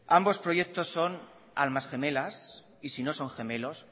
ambos proyectos son almas gemelas y si no son gemelos